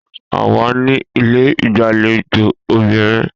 A wà ní ilé ìgbàlejò obìnrin